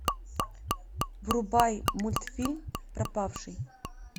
врубай мультфильм пропавший